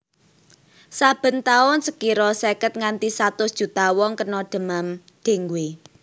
Saben taun sekira seket nganti satus juta wong kena demam dengue